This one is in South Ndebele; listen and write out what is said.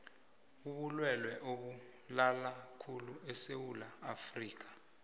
ubilwelwe obubulalakhulu esewula afrikha